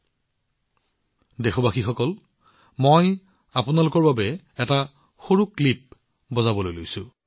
মৰমৰ দেশবাসীসকল মই আপোনালোকৰ বাবে গানৰ এটা সৰু ক্লিপ বজাবলৈ গৈ আছো